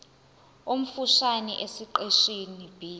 omfushane esiqeshini b